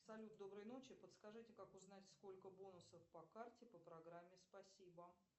салют доброй ночи подскажите как узнать сколько бонусов по карте по программе спасибо